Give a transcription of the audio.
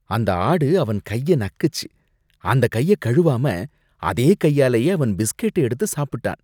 அந்த ஆடு அவன் கைய நக்குச்சு, அந்த கைய கழுவாம அதே கையாலயே அவன் பிஸ்கட்ட எடுத்து சாப்பிட்டான்